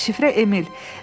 Şifrə Emil.